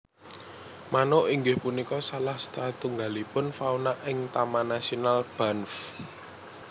Manuk inggih punika salah satunggalipun fauna ing Taman nasional Banff